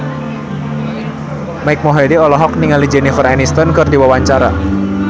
Mike Mohede olohok ningali Jennifer Aniston keur diwawancara